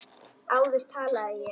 Áður talaði ég.